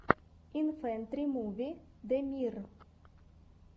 инфэнтримуви дэмир